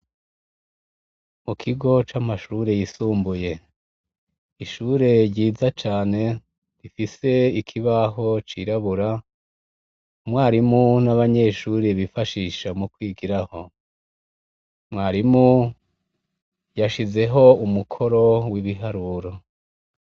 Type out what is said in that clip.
Mu kigo c'amashure yisumbuye. Ishure ryiza cane rifise ikibaho cirabura, umwarimu n'abanyeshure bifashisha mu kwigirako. Mwarimu hashizeho umukoro w'ibiharuro.